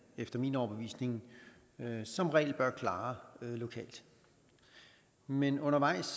efter min overbevisning som regel bør klare lokalt men undervejs